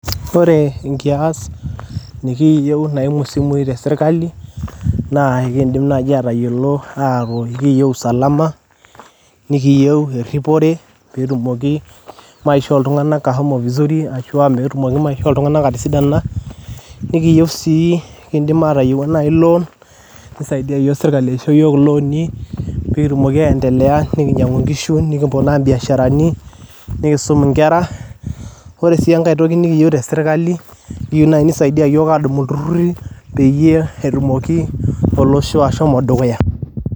Ore Enkias niikiyiu naiimu empisai tesirkali naa aikidim nayiu atayiolo ajo akiiyiu Usalama nikiyiu erripore pee etumoki Maisha oltung'anak ashomo Visuuri ashu peetumoki Maisha oltung'anak atisidana nikiyiu si i loan neisaidia yiok sirkali aisho loan pee kitumoki aendelea nikinyiang'u enkishu, nikiponaa ebiasharani nikiisum Enkera, ore sii Enkae toki nikiyiu tesirkali akiiyiu naayi neisaidia iyiok adumu ilturrurri peyie etumoki Olosho ashomo dukuya.